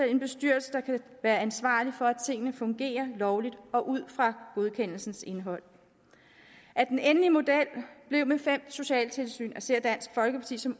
en bestyrelse der kan være ansvarlig for at tingene fungerer lovligt og ud fra godkendelsens indhold at den endelige model blev med fem socialtilsyn ser dansk folkeparti som